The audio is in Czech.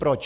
Proč?